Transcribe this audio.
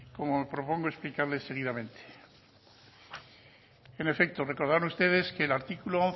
como propongo explicarles seguidamente en efecto recordarles a ustedes que el artículo